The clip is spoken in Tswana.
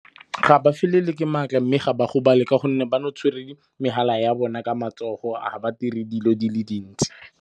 Ga ba felelwe ke maatla mme ga ba gobala. Ka gonne ba no tshwere di megala ya bona ka matsogo, ga ba dire dilo di le dintsi.